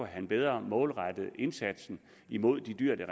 han bedre målrette indsatsen imod de dyr der